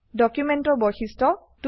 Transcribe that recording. ডকুমেন্টৰ বৈশিষ্ট্য